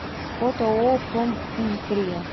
фото ооо проминдустрия